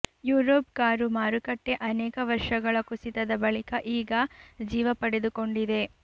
Europe car ಮಾರುಕಟ್ಟೆ ಅನೇಕ ವರ್ಷಗಳ ಕುಸಿತದ ಬಳಿಕ ಈಗ ಜೀವಪಡೆದುಕೊಂಡಿದೆ